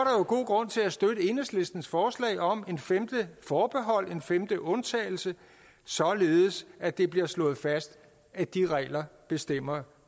jo god grund til at støtte enhedslistens forslag om et femte forbehold en femte undtagelse således at det bliver slået fast at de regler bestemmer